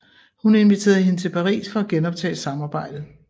Hun inviterede hende til Paris for at genoptage samarbejdet